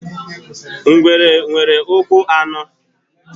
Ngwere nwere ụkwụ anọ.